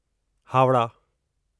Howrah